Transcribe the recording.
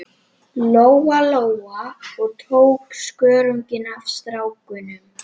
Lóa Lóa og tók skörunginn af stráknum.